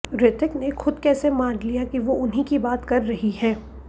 ऋतिक ने खुद कैसे मान लिया कि वो उन ही की बात कर रही हैं